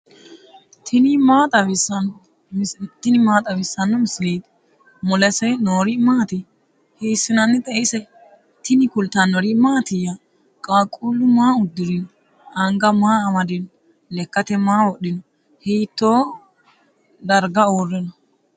tini maa xawissanno misileeti ? mulese noori maati ? hiissinannite ise ? tini kultannori mattiya? qaaqullu maa udirinno? anga maa amadinno? Lekkatte maa wodhinno? hitto dariga uure nno?